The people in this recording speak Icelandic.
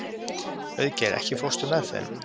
Auðgeir, ekki fórstu með þeim?